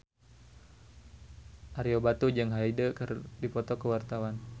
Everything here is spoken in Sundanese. Ario Batu jeung Hyde keur dipoto ku wartawan